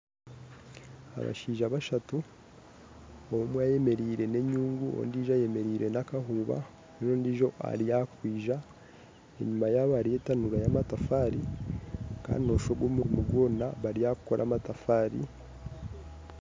Abashaija bashatu omwe ayemereire n'enyungu ondijo ayemereire na kahuuba n'ondijo ari ahakwija enyuma yabo hariyo etanuru y'amatafari Kandi noshusha ogu omurumo gwona bari ahakukora amatafari.